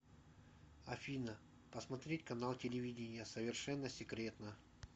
афина посмотреть канал телевидения совершенно секретно